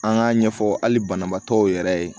An k'a ɲɛfɔ hali banabaatɔw yɛrɛ ye